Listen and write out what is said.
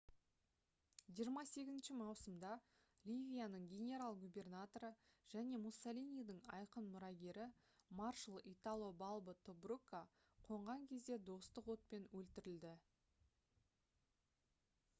28 маусымда ливияның генерал-губернаторы және муссолинидің айқын мұрагері маршал итало балбо тобрукқа қонған кезде достық отпен өлтірілді